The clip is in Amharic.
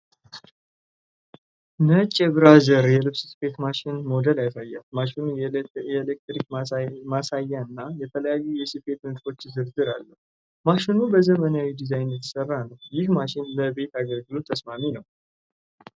ነጭ የብራዘር (Brother) የልብስ ስፌት ማሽን (ሞዴል ያሳያል። ማሽኑ የኤሌክትሮኒክ ማሳያ እና የተለያዩ የስፌት ንድፎች ዝርዝር አለው። ማሽኑ በዘመናዊ ዲዛይን የተሰራ ነው። ይህ ማሽን ለቤት አገልግሎት ተስማሚ ነው?